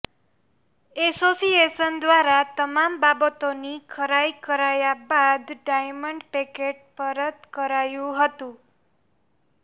association દ્વારા તમામ બાબતોની ખરાઈ કરાયા બાદ ડાયમંડ પેકેટ પરત કરાયું હતું